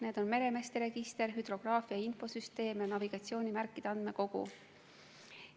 Need on meremeeste register, hüdrograafia infosüsteem ja navigatsioonimärkide andmekogu.